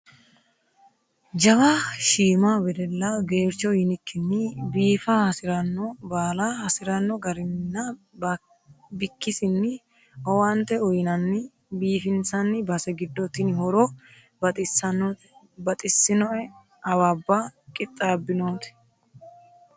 Jawa shiima wedella gercho yinikkinni biifa hasirano baalla hasirano garininna bikkisinni owaante uyinanni biifinsanni base giddo tini horo baxxittanote baxisinoe awabba qixabbinoti.